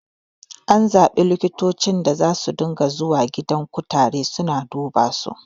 An zaɓi likitocin da zasu ringa zuwa gidan kutare suna dubasu